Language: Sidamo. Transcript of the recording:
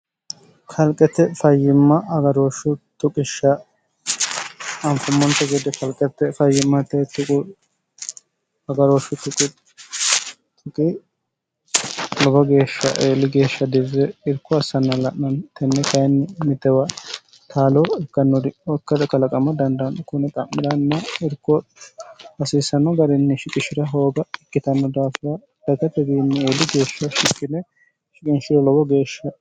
kalqete fayyimma agarooshsh tuqishsha anfummon gede kalqete fayyimmate quagarooshsh quqi lobo geeshsha eeli geeshsha dirre irko assanna'nn tenne kayinni mitewa taalo irkannori okkad kalaqama dandaanno kune qa'miranna irko hasiisanno garinni shiqishi'ra hooba ikkitanno daafina dagatwinni eeli geeshsha shikkine shiqinshire lobo geeshsha